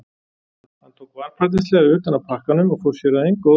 Hann tók varfærnislega utan af pakkanum og fór sér að engu óðslega.